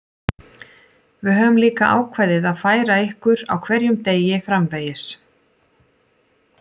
Við höfum líka ákveðið að færa ykkur á hverjum degi framvegis.